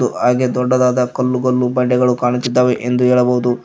ಹಾಗೆ ದೊಡ್ಡದಾದ ಕಲ್ಲು ಕಲ್ಲು ಬಂಡೆಗಳು ಕಾಣುತ್ತಿದ್ದಾವೆ ಎಂದು ಹೇಳಬಹುದು.